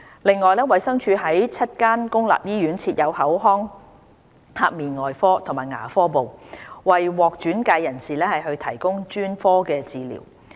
此外，衞生署在7間公立醫院設有口腔頜面外科及牙科部，為獲轉介人士提供專科治療。